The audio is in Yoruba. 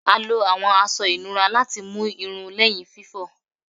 A lo awọn aṣọ inura lati mu irun lẹhin fifọ